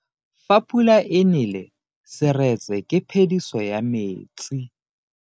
Fa pula e nele seretse ke phediso ya metsi.